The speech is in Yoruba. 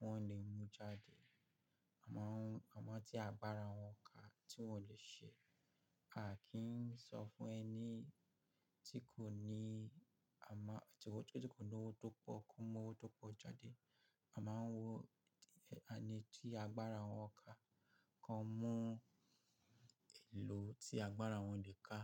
wọ́n lè mú jáde, àmọ́ tí agbára wọn kà tí wọ́n lè ṣe. A kì í sọ fún ẹni tí kò ní-- àmọ́ ètò tí kò ní owó tó pọ̀ kó mú owó tó pọ̀ jáde. Ama n wo eni ti agbara won ka kan mu èlò tí agbára wọn le kà.